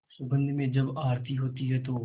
सुगंध में जब आरती होती है तो